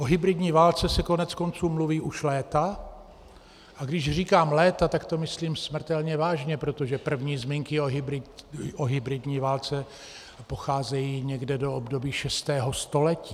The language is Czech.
O hybridní válce se koneckonců mluví už léta, a když říkám léta, tak to myslím smrtelně vážně, protože první zmínky o hybridní válce pocházejí někdy z období šestého století.